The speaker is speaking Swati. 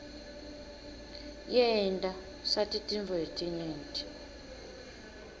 yenta sati tintfo letinyenti